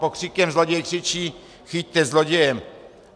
Pokřikem zloděj křičí: Chyťte zloděje!